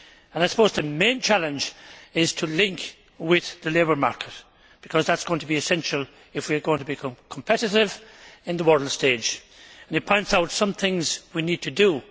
I suppose the main challenge is to link with the labour market, because that is going to be essential if we are going to be competitive on the world stage. It points out some things we need to do.